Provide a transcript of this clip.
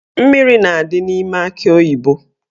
Mmiri na-adị n'ime akị oyibo.